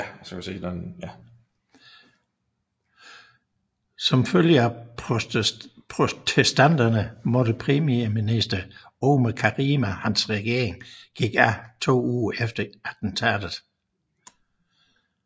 Som følge af protesterne måtte premierminister Omar Karami og hans regering gik af to uger efter attentatet